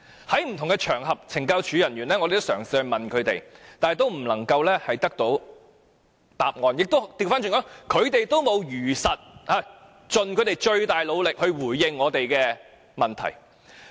在不同的場合，我們嘗試詢問懲教署人員，但都得不到答案，他們沒有如實盡最大努力回應我們的提問。